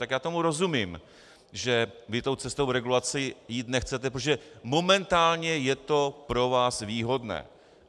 Tak já tomu rozumím, že vy tou cestou regulace jít nechcete, protože momentálně je to pro vás výhodné.